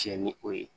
Cɛ ni o ye